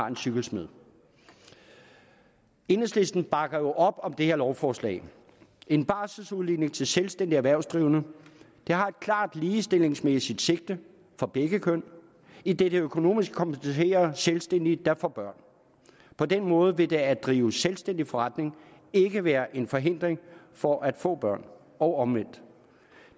er cykelsmede enhedslisten bakker jo op om det her lovforslag en barselsudligning til selvstændigt erhvervsdrivende har et klart ligestillingsmæssigt sigte for begge køn idet det økonomisk kompenserer selvstændige der får børn på den måde vil det at drive selvstændig forretning ikke være en forhindring for at få børn og omvendt